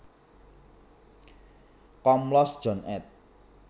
Komlos John ed